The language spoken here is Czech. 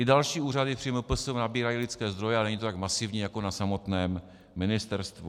I další úřady při MPSV nabírají lidské zdroje, ale není to tak masivní jako na samotném ministerstvu.